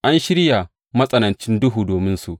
An shirya matsanancin duhu dominsu.